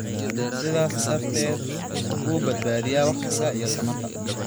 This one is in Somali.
sidaas darteed u badbaadiya waqtiga iyo tamarta.